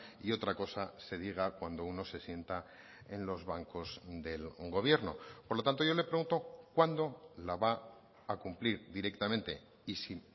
y otra cosa se diga cuando uno se sienta en los bancos del gobierno por lo tanto yo le pregunto cuándo la va a cumplir directamente y si